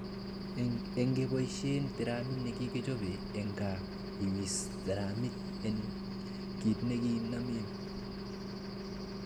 Ingeboishen tiramit nekikichobe en gaa, iwis tiramit en kit nekinamen.